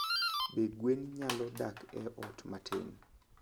Be gwen nyalo dak e ot matin?